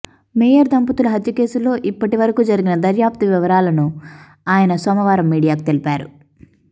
mayor దంపతుల హత్య కేసులో ఇప్పటి వరకు జరిగిన దర్యాప్తు వివరాలను ఆయన సోమవారం మీడియాకు తెలిపారు